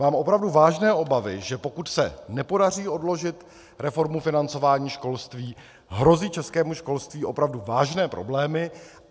Mám opravdu vážné obavy, že pokud se nepodaří odložit reformu financování školství, hrozí českému školství opravdu vážné problémy.